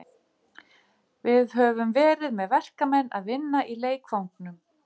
Vafalítið eiga þó önnur fjarlægari fyrirbæri eftir að uppgötvast.